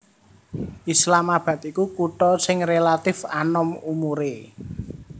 Islamabad iku kutha sing rélatif anom umuré